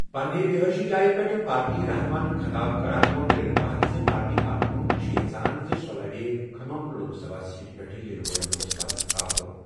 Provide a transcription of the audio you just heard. پنٛنہِ رِہٲیشی جایہِ پٮ۪ٹھ پارٹی رہنُماہن خطاب کٔرِتھ ووٚن رینوکا ہَن زِ پارٹی کارکُن چھِ یَژھان زِ سۄ لَڑِ کھم لوک سبھا سیٹہِ پٮ۪ٹھ یِنہٕ وٲلۍ لوک سبھا اِنتِخاب۔